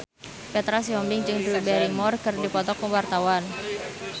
Petra Sihombing jeung Drew Barrymore keur dipoto ku wartawan